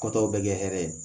Kɔ tɔw bɛ kɛ hɛrɛ ye